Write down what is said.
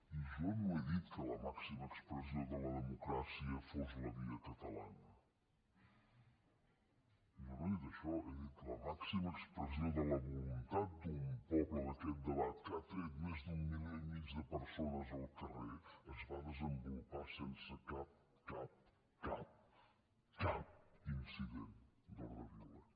i jo no he dit que la màxima expressió de la democràcia fos la via catalana jo no he dit això he dit la màxima expressió de la voluntat d’un poble d’aquest debat que ha tret més d’un milió i mig de persones al carrer es va desenvolupar sense cap cap cap cap incident d’ordre violent